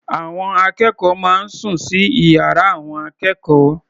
Àwọn akẹ́kọ̀ọ́ máa ń sùn sí ìyára àwọn akẹ́kọ̀ọ́.